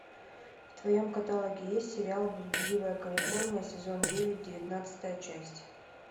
в твоем каталоге есть сериал блудливая калифорния сезон девять девятнадцатая часть